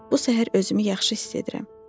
Bu səhər özümü yaxşı hiss edirəm.